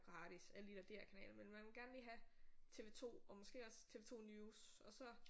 Gratis alle de der DR-kanaler men man vil gerne lige have TV2 og måske også TV2 News og så